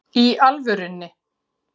Í alvörunni?